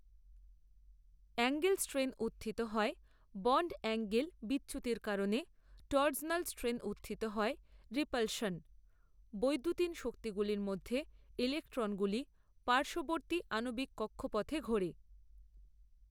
Angle strain উত্থিত হয় bond angle বিচ্যুতির কারণে টর্জনাল স্ট্রেন উত্থিত হয় রিপালশন। বৈদ্যুতিন শক্তিগুলির মধ্যে ইলেক্ট্রনগুলি পার্শ্ববর্তী আণবিক কক্ষপথে ঘোরে।